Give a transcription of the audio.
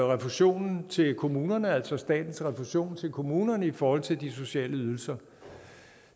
refusionen til kommunerne altså statens refusion til kommunerne i forhold til de sociale ydelser